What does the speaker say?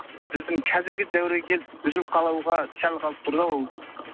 біздің қазіргі дәуірге келіп үзіліп қалуға сәл қалып тұр да ол